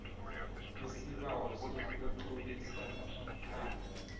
isibawo sokutlolisa ikhaya